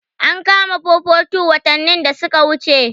An kama 442 watannin da suka wuce.